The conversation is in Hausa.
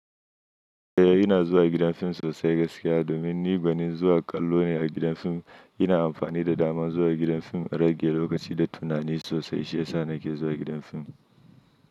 Eh, ina zuwa gidan fim sosai gaskiya domin ni gwanin zuwa kallo ne a gidan fim. Ina amfani da daman zuwa gidan fim a rage lokaci da tunani sosai. Shi ya sa na ke zuwa gidan fim.